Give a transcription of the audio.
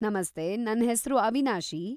ನಮಸ್ತೆ, ನನ್ ಹೆಸ್ರು ಅವಿನಾಶಿ.